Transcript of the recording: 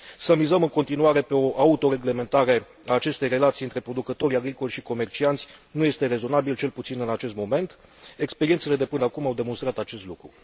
Să mizăm în continuare pe o autoreglementare a acestei relații dintre producătorii agricoli și comercianți nu este rezonabil, cel puțin în acest moment, experiențele de până acum au demonstrat acest lucru.